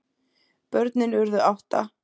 Börnin urðu átta.